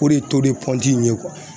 O de ye ye